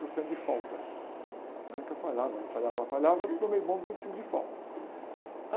por cento de falta, né? Porque eu falhava, falhava, falhava, tomei bomba e vinte e cinco de falta.